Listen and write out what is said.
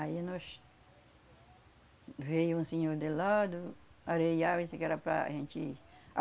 Aí nós... Veio um senhor de lá do Areial, disse que era para a gente...